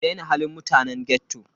Ki daina halin mutanen ghetto.